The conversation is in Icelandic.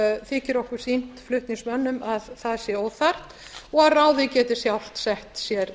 þykir okkur flutningsmönnum sýnt að það sé óþarft og að ráðið geti sjálft sett sér